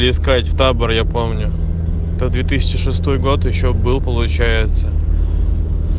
искать в таборе я помню до две тысячи шестой год ещё был получается